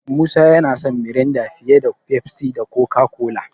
Musa yana son Miranda fiye da Pepsi da Coca-Cola.